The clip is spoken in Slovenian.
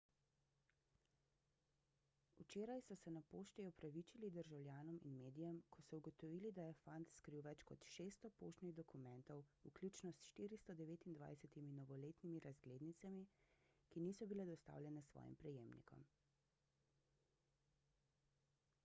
včeraj so se na pošti opravičili državljanom in medijem ko so ugotovili da je fant skril več kot 600 poštnih dokumentov vključno s 429 novoletnimi razglednicami ki niso bili dostavljene svojim prejemnikom